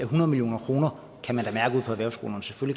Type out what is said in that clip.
hundrede million kroner